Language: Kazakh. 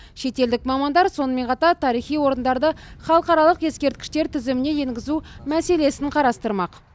шетелдік мамандар сонымен қатар тарихи орындарды халықаралық ескерткіштер тізіміне енгізу мәселесін қарастырмақ